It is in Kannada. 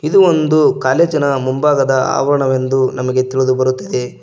ಇದು ಒಂದು ಕಾಲೇಜಿನ ಮುಂಭಾಗದ ಆವರಣವೆಂದು ನಮಗೆ ತಿಳಿದು ಬರುತ್ತದೆ.